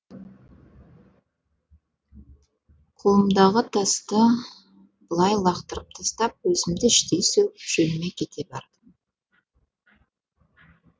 қолымдағы тасты былай лақтырып тастап өзімді іштей сөгіп жөніме кете бардым